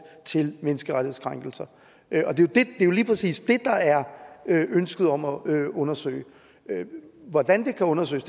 til menneskerettighedskrænkelser det er jo lige præcis det der er et ønske om at undersøge hvordan det kan undersøges